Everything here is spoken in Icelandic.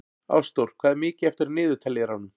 Ástþór, hvað er mikið eftir af niðurteljaranum?